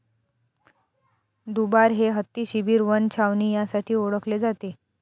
दुबार हे हत्ती शिबीर वन छावणी यासाठी ओळखले जाते.